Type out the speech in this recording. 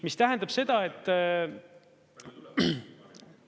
Mis tähendab seda, et …